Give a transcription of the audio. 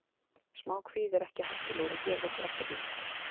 Smá kvíði er ekki hættulegur og gerir okkur ekkert illt.